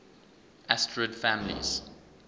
asterid families